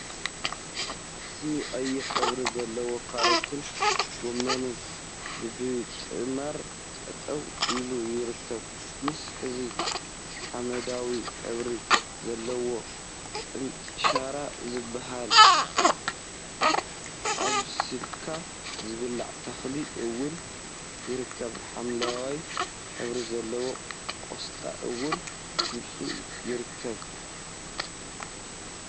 አሰኒ! ቀይሕ ሕብሪ ዘለዎ ካሮትን ጎመንን በቢጥማር ጠጠው ኢሎም ይርከቡ፡፡ ምስ እዚ ሓመደዋይ ሕብሪ ዘለዎ ቅንጥሻራ ዝብሃል አብሲልካ ዝብላዕ ተክሊ እውን ይርከብ፡፡ ሓምለዋይ ሕብሪ ዘለዎ ቆስጣ እውን ምስኦም ይርከብ፡፡